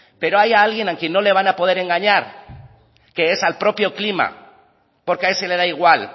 pero hay alguien a quien no le van a poder engañar que es al propio clima porque a ese le da igual